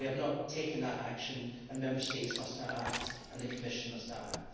We have not taken that action, and Member States must now act and the Commission must now act.